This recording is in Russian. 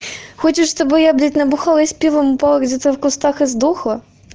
хочешь с тобой я блять набухлась пивом упала где-то в кустах и сдохла